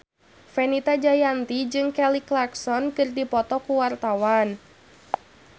Fenita Jayanti jeung Kelly Clarkson keur dipoto ku wartawan